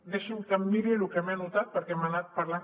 deixi’m que em miri el que m’he anotat perquè hem anat parlant